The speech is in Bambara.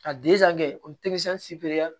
Ka kɛ o